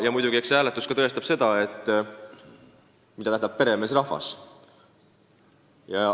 Ja muidugi, eks see hääletus näitab ka seda, mida tähendab peremeesrahvas.